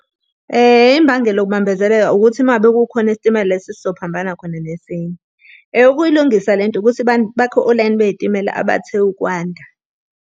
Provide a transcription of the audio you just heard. Imbangela yokubambezeleka ukuthi uma ngabe kukhona isitimela la esesizophambana khona nesinye. Ukuyilungisa lento ukuthi bakhe olayini bey'timela abathe ukwanda.